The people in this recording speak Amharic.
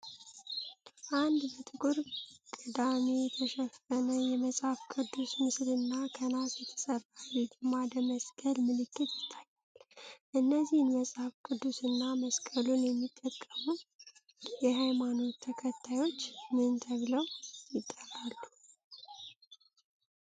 አንድ በጥቁር ቅዳሜ የተሸፈነ የመጽሃፍ ቅዱስ ምስልና ከናስ የተሰራ የግማደ መስቀል ምልክት ይታያል። እነዚህን መጽሐፍ ቅዱስ እና መስቀሉት የሚጠቀሙ የሃይማኖት ተከታዮች ምን ተብለው ይጠራሉ?